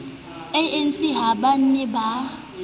anc ha ba ne ba